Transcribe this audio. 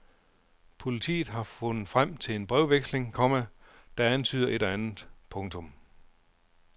Politiet har fundet frem til en brevveksling, komma der antyder et og andet. punktum